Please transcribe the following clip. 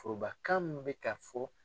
Forobakan mun bɛ ka fɔ.